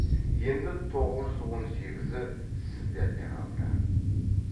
енді тоғыз жүз он сегізі сіздерде қалды